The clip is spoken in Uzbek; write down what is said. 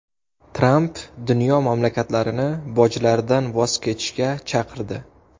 Tramp dunyo mamlakatlarini bojlardan voz kechishga chaqirdi.